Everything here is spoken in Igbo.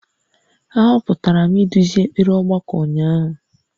A họpụtara m iduzi ekpere ọgbakọ ụnyahụ